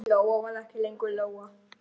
Lóa var ekki lengur Lóa.